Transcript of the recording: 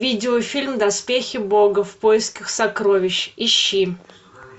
видеофильм доспехи бога в поисках сокровищ ищи